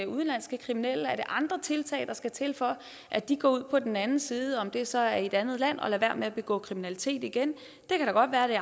udenlandske kriminelle er det andre tiltag der skal til for at de går ud på den anden side om det så er i et andet land og lader være med at begå kriminalitet igen det kan da godt være at det